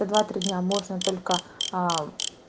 два-три дня можно только аа